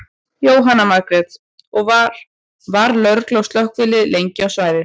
Jóhanna Margrét: Og var, var lögregla og slökkvilið lengi á svæðið?